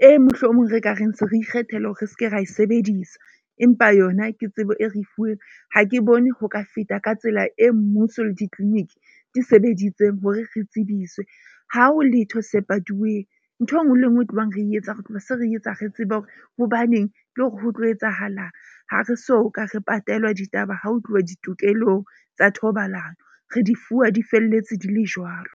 e mohlomong re ka reng se re ikgethela hore re seke ra e sebedisa. Empa yona ke tsebo e re fuweng ha ke bone ho ka feta ka tsela e, mmuso le di-clinic di sebeditseng hore re tsebiswe. Ha ho letho se patuweng, nthwe e nngwe le e nngwe e tlohang re etsa re tloha se re etsa re tseba hore hobaneng le hore ho tlo etsahalang. Ha re soka re patelwa ditaba, ha ho tluwa ditokelong tsa thobalano, re di fuwa, di felletse, di le jwalo.